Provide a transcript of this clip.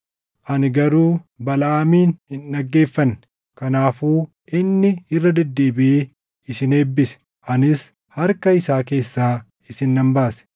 Ani garuu Balaʼaamin hin dhaggeeffanne; kanaafuu inni irra deddeebiʼee isin eebbise; anis harka isaa keessaa isin nan baase.